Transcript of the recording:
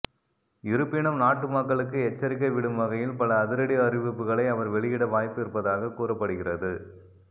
இருப்பினும் நாட்டு மக்களுக்கு எச்சரிக்கை விடும் வகையில் பல அதிரடி அறிவிப்புகளை அவர் வெளியிட வாய்ப்பு இருப்பதாக கூறப்படுகிறது